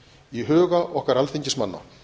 í huga okkar alþingismanna